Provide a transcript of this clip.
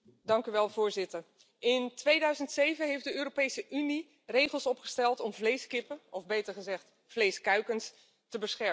Voorzitter, in 2007 heeft de Europese Unie regels opgesteld om vleeskippen, of beter gezegd vleeskuikens, te beschermen.